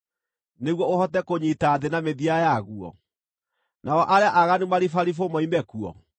nĩguo ũhote kũnyiita thĩ na mĩthia yaguo, nao arĩa aaganu maribaribwo moime kuo?